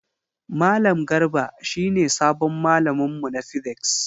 Malam Garba shi ne sabon malamin mu na physics.